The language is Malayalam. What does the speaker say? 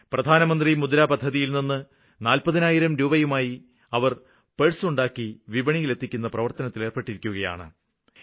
പ്രധാനമന്ത്രി മുദ്ര പദ്ധതിയില്നിന്ന് നാല്പതിനായിരം രൂപയുമായി അവര് പെഴ്സ് ഉണ്ടാക്കി വിപണിയില് എത്തിക്കുന്ന പ്രവര്ത്തനത്തില് ഏര്പ്പെട്ടിരിക്കുകയാണ്